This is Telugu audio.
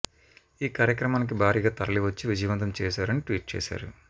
ఈ కార్యక్రమానికి భారీగా తరలివచ్చి విజయవంతం చేశారు అని ట్వీట్ చేశారు